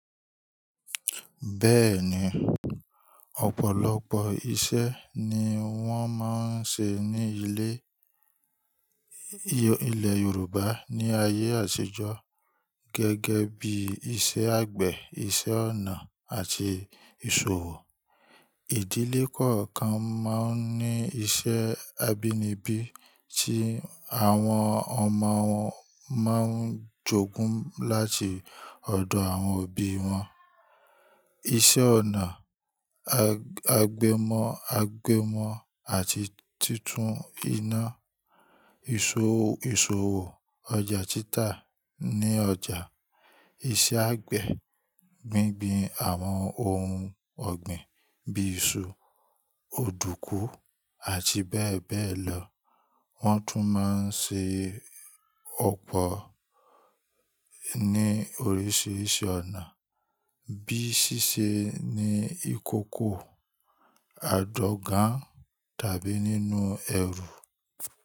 Bẹ́ẹ̀ni, ọ̀pọ̀lọpọ̀ iṣẹ́ ni wọ́n máa ń ṣe ní ilé, ilẹ̀ Yorùbá ní ayé àtijọ́ gẹ́gẹ́ bí iṣẹ́ àgbẹ̀, iṣẹ́ ọnà àti ìṣòwò. Ìdílé kọ̀ọ̀kan máa ń ní iṣẹ́ abínibí tí àwọn ọmọ wọn máa ń jogún láti ọ̀dọ̀ àwọn òbí wọn. Iṣẹ́ ọnà, àgbẹ̀ mọ́ àti títú iná. Ìṣòwò, ọjà títa ní ọjà, iṣẹ́ àgbẹ̀, gbíngbin àwọn ohun ọ̀gbìn bí iṣu, òdùkú àti bẹ́ẹ̀ bẹ́ẹ̀ lọ. Wọ́n tún máa ń ṣe ọ̀pọ̀ ní oríṣìíríṣìí ọ̀nà bíi ṣíṣe ní ìkókó, àdọ́gan tàbí nínú ẹrù.